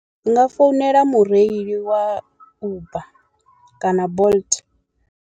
Ndi nga founela mureili wa uber kana bolt.